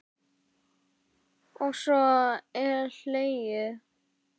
Og svo er hlegið.